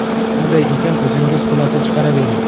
Shunday ekan, o‘zingiz xulosa chiqaravering.